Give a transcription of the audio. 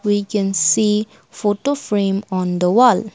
we can see photo frame on the wall.